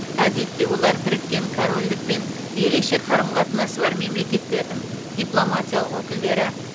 әдетте олар біріккен корольдікпен ерекше қарым қатынасы бар мемлекеттердің дипломатиялық өкілдері